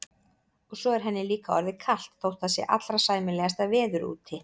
Og svo er henni líka orðið kalt þótt það sé allra sæmilegasta veður úti.